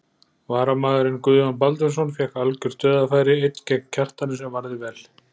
Varamaðurinn Guðjón Baldvinsson fékk algjört dauðafæri einn gegn Kjartani sem varði vel.